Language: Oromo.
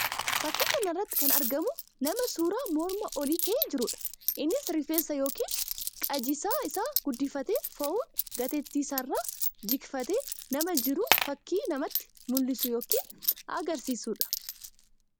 Faķkii kana irratti kan argamu nama suuraa mormaa olii ka'ee jiruudha. Innis rifeensa yookiin qajjisaa isaa guddifatee fo'uun gateettii isaa irraa jigfatee nama jiru fakkii namatti mul'isu yookiin agarsiisuu dha.